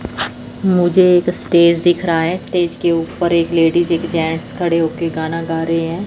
मुझे एक स्टेज दिख रहा है स्टेज के ऊपर एक लेडिस एक जेंट्स खड़े हो के गाना गा रहे हैं।